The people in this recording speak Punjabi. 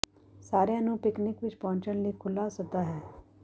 ਸਾਰਿਆਂ ਨੂੰ ਪਿਕਨਿਕ ਵਿਚ ਪਹੁੰਚਣ ਲਈ ਖੁੱਲ੍ਹਾ ਸੱਦਾ ਹੈ